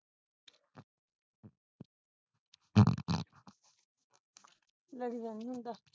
ਲੜੀ ਦਾ ਨਹੀਂ ਹੁੰਦਾ